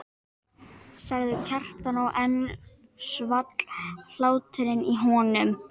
sagði Kjartan og enn svall hláturinn í honum.